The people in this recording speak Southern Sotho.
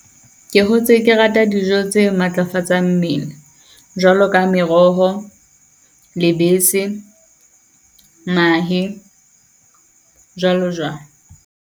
Ke hotse ke rata dijo tse matlafatsang mmele. Jwalo ka meroho, lebese mahe jwalo jwalo.